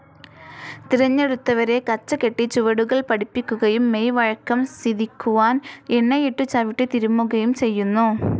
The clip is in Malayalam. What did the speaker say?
തിരഞ്ഞെടുത്തവരെ കച്ചകെട്ടി ചുവടുകൾ പഠിപ്പിക്കുകയും മെയ്‌ വഴക്കം സിധിക്കുവാൻ എണ്ണയിട്ടു ചവിട്ടി തിരുമ്മുകയും ചെയ്യുന്നു.